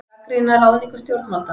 Gagnrýna ráðningu stjórnvalda